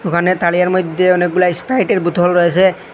দোকানের তারিয়ের মধ্যে অনেকগুলা স্পাইটের বোতল রয়েছে।